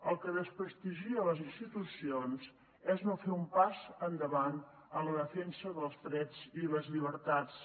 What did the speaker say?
el que desprestigia les institucions és no fer un pas endavant en la defensa dels drets i les llibertats